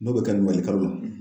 N'o bɛ kɛ nin kɔ o ye kalo in